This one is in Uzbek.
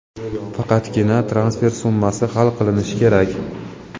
faqatgina transfer summasi hal qilinishi kerak.